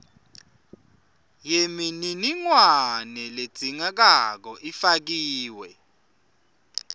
yemininingwane ledzingekako ifakiwe